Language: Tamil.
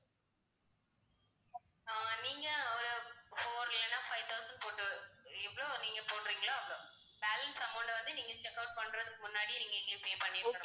ஆஹ் நீங்க ஒரு four இல்லனா five thousand போட்டு எவ்ளோ நீங்கப் போடுறீங்களோ அவ்ளோ balance amount அ வந்து நீங்க checkout பண்றதுக்கு முன்னாடி நீங்க எங்களுக்கு pay பண்ணிடனும்.